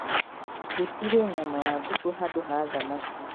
Njĩtĩrĩe nyama ya ngũkũ handũ ha thamaki